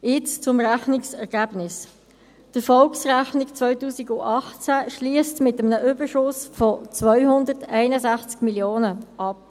Nun zum Rechnungsergebnis: Die Erfolgsrechnung 2018 schliesst mit einem Überschuss von 261 Mio. Franken ab.